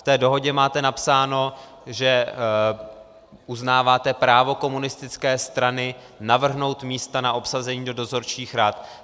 V té dohodě máte napsáno, že uznáváte právo komunistické strany navrhnout místa na obsazení do dozorčích rad.